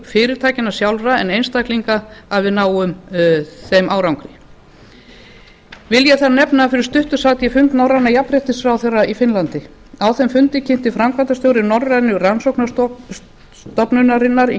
fyrirtækjanna sjálfra en einstaklinga að við náum þeim árangri vil ég þá nefna að fyrir stuttu sat ég fund norrænna jafnréttisráðherra í finnlandi á þeim fundi kynnti framkvæmdastjóri norrænu rannsóknastofnunarinnar í